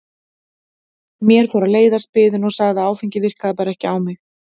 Mér fór að leiðast biðin og sagði að áfengið virkaði bara ekki á mig.